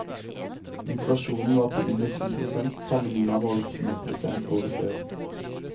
Inflasjonen var på under ti prosent, sammenliknet med over tjue prosent året før.